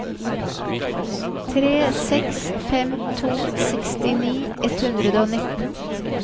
tre seks fem to sekstini ett hundre og nitten